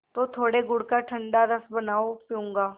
तो थोड़े गुड़ का ठंडा रस बनाओ पीऊँगा